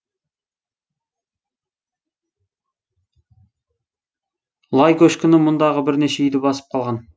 лай көшкіні мұндағы бірнеше үйді басып қалған